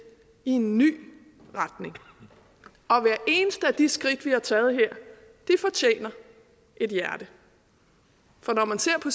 i en ny retning og hvert eneste af de skridt vi har taget her fortjener et hjerte for når man ser på